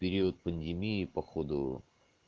период пандемии походу